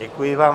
Děkuji vám.